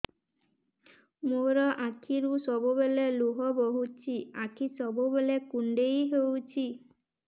ମୋର ଆଖିରୁ ସବୁବେଳେ ଲୁହ ବୋହୁଛି ଆଖି ସବୁବେଳେ କୁଣ୍ଡେଇ ହଉଚି